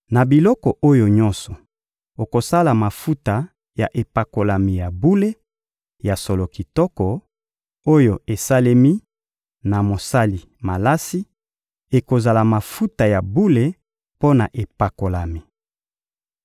Na biloko oyo nyonso, okosala mafuta ya epakolami ya bule, ya solo kitoko, oyo esalemi na mosali malasi; ekozala mafuta ya bule mpo na epakolami.